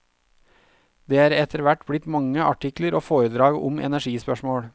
Det er etterhvert blitt mange artikler og foredrag om energispørsmål.